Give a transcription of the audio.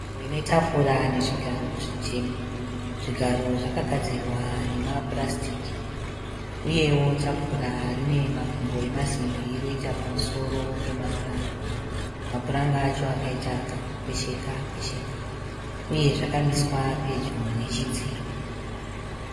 Nzvimbo ine tafura nezvigaro zvitema. Zvigaro zvakagadzirwa nemapurasitiki uyewo tafura rine makumbo emasimbi roita pamusoro pemapuranga. Mapuranga acho akaita kakukwesheka kwesheka uye zvakamiswa pedyo nechidziro.